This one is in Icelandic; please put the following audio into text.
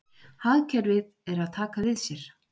Hagkerfið er að taka við sér